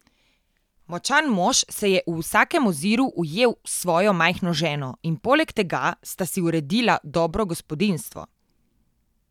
Močan mož se je v vsakem oziru ujel s svojo majhno ženo in poleg tega sta si uredila dobro gospodinjstvo.